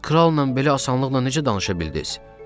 Siz kralla belə asanlıqla necə danışa bildiniz?